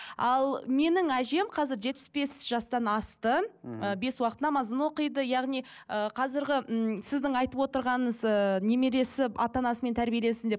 ал менің әжем қазір жетпіс бес жастан асты мхм ы бес уақыт намазын оқиды яғни ыыы қазіргі ммм сіздің айтып отырғаныңыз ыыы немересі ата анасымен тәрбиеленсін деп